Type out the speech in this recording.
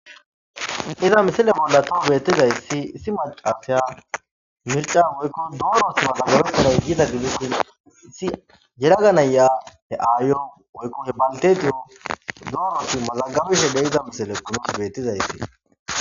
iza misile bolla too beettizayssi issi maqateya mirca oykko duurosi mazagarekanay giida gidisin issi yeraganaya he ayo oykko he baltetiyo durosi mazagabishe de iza misile kometi bettizayssi